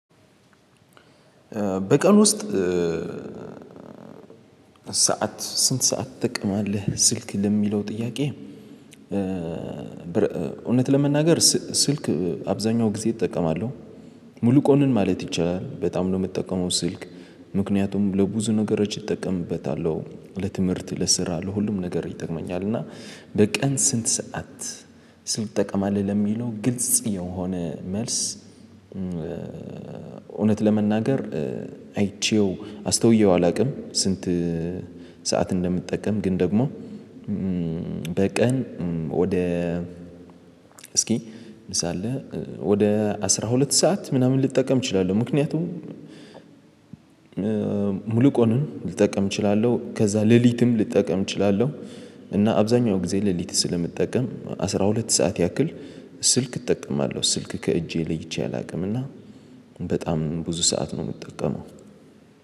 በቀን ውስጥ ሰዓት ስንት ሰዓት ትጠቀማለህ? ስልክ ለሚለው ጥያቄ እውነት ለመናገር ስ ስልክ አብዛኛው ጊዜ እጠቀማለሁ ሙሉ ቀኑን ማለት ይቻላል በጣም ነው የምጠቀመው ስልክ። ምክንያቱም ለብዙ ነገሮች እጠቀምበታለሁ ለትምህርት ለስራ ለሁሉም ነገር ይጠቅመኛል። እና በቀን ስንት ሰዓት ትጠቀማለህ? ለሚለው ግልጽ የሆነ መልስ እውነት ለመናገር አይቼው አስተውየው አላውቅም። ስንት ሰዓት እንደምጠቀም ግን ደግሞ በቀን ወደ እስኪ ሳለ ወደ አስራ ሁለት ሰዓት ምናምን ልጠቀም እችላለሁ። ምክንያቱም ሙሉ ቀኑን ልጠቀም እችላለሁ ከዛ ሌሊትም ልጠቀም እችላለሁ። እና አብዛኛው ጊዜ ሌሊት ስለምጠቀም አስራ ሁለት ሰዓት ያክል ስልክ እጠቀማለሁ። ስልክ ከእጄ ለይቼ አላውቅም። እና በጣም ብዙ ሰዓት ነው የምጠቀመው።